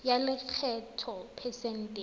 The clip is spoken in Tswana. ya lekgetho phesente e